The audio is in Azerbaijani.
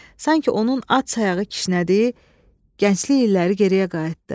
Sanki onun ad sayığı kişnədi, gənclik illəri geriyə qayıtdı.